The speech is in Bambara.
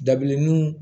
Dabilenninw